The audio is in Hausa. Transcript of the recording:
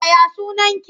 Ya ya sunaki?